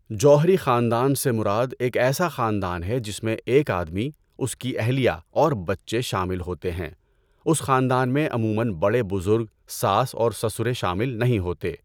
جوہری خاندان سے مراد ایک ایسا خاندان ہے جس میں ایک آدمی، اس کی اہلیہ اور بچے شامل ہوتے ہیں۔ اس خاندان میں عمومًا بڑے بزرگ ساس اور سسرے شامل نہیں ہوتے ہیں۔